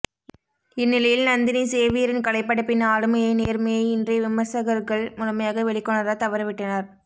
இந்நிலையில் நந்தினி சேவியரின் கலைப்படைப்பின் ஆளுமையை நேர்மையை இன்றைய விமர்சகர்கள் முழுமையாக வெளிக்கொணரத் தவறிவிட்டனர்